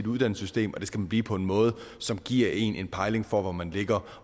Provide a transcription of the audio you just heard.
uddannelsessystemet og det skal man blive på en måde som giver én en pejling på hvor man ligger